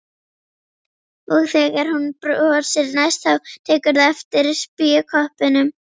Og þegar hún brosir næst þá tekurðu eftir spékoppunum.